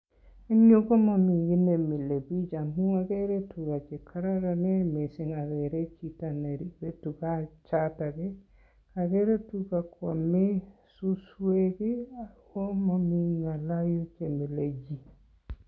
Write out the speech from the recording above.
En yuu ko momii kiit nemilebik amun okere tukaa chekororonen mising akere chito neribe tukaa chotok, okere tukaa kwome suswek ak ko momii ngala yuton.